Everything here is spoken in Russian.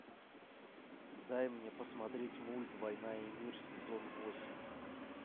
дай мне посмотреть мульт война и мир сезон восемь